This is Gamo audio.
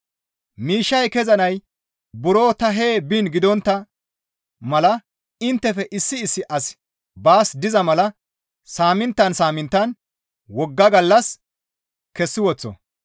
Miishshay kezanay buro ta hee biin gidontta mala inttefe issi issi asi baas diza mala saaminttan saaminttan wogga gallas kessi woththo.